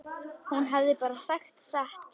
Hún hafði bara sagt satt.